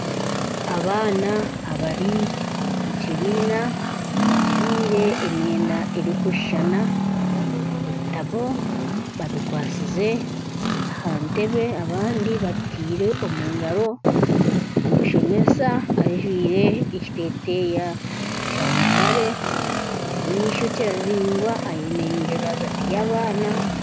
Abaana abari omu kibiina bajwire emyenda eri kushushana, ebitabo babikwasize aha ntebe, abandi babiteire omu ngaro. Omushomesa ajwire ekiteteya kya mutare ayine ishokye riringwa ayemereire rwagati y'abaana.